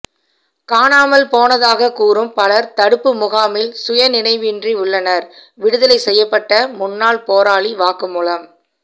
காணாமல் போனதாக கூறும் பலர் தடுப்பு முகாமில் சுயநினைவின்றி உள்ளனர் விடுதலை செய்யப்பட்ட முன்னாள் போராளி வாக்குமூலம்